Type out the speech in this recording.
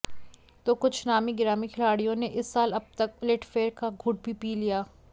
तो कुछ नामी गिरामी खिलाड़ियों ने इस साल अब तक उलटफेर का घूंट भी पिया